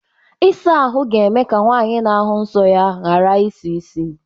Ịsa ahụ ga-eme ka nwaanyị n'ahụ nso ya gara isi isi.